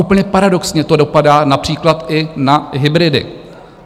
Úplně paradoxně to dopadá například i na hybridy.